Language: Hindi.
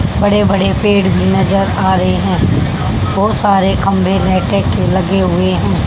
बड़े बड़े पेड़ भी नजर आ रहे हैं बहुत सारे खंभे लाइटे के लगे हुए हैं।